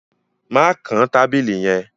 Mà kàn tabílì yẹ̀n!